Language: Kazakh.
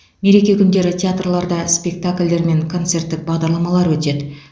мереке күндері театрларда спектакльдер мен концерттік бағдарламалар өтеді